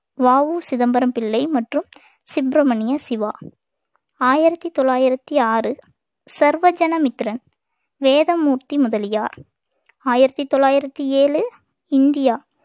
வ உ சிதம்பரம் பிள்ளை மற்றும் சுப்ரமணிய சிவா ஆயிரத்தி தொள்ளாயிரத்தி ஆறு சர்வஜன மித்திரன் வேதமூர்த்தி முதலியார் ஆயிரத்தி தொள்ளாயிரத்தி ஏழு இந்தியா